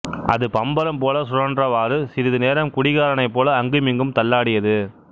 அது பம்பரம் போல சுழன்றவாறு சிறிது நேரம் குடிகாரனை போல அங்கும் இங்கும் தள்ளாடியது